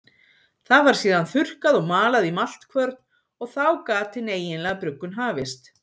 Það var síðan þurrkað og malað í maltkvörn og þá gat hin eiginlega bruggun hafist.